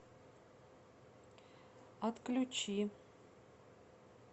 отключи